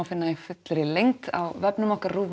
finna í fullri lengd á vefnum okkur